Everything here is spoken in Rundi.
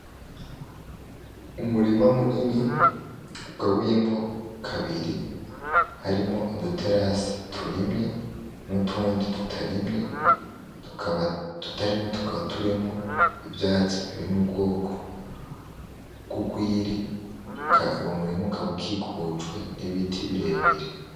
Umurima munini ugabuyemwo kabiri harimwo uduterase turimye n'utundi tutarimye tukaba ututarimye tukaba turimwo ivyatsi biri mubwoko bwurwiri, Uwo murima ukaba ukikujwe n'ibiti birebire.